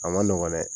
A ma nɔgɔn dɛ